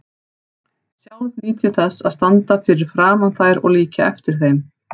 Sjálf nýt ég þess að standa fyrir framan þær og líkja eftir þeim.